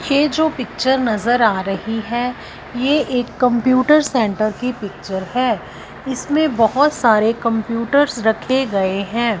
ये जो पिक्चर नजर आ रही है ये एक कंप्यूटर सेंटर की पिक्चर है इसमें बहोत सारे कंप्यूटर्स रखे गए हैं।